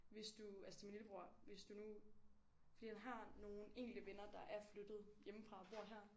Hvis du altså til min lillebror hvis du nu fordi han har nogle enkelte venner der er flyttet hjemmefra og bor her